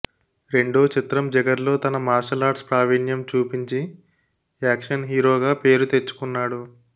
రెండో చిత్రం జిగర్లో తన మార్షల్ ఆర్ట్స్ ప్రావీణ్యం చూపించి యాక్షన్ హీరోగా పేరుతెచ్చుకున్నాడు